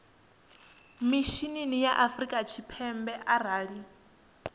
mishinini wa afrika tshipembe arali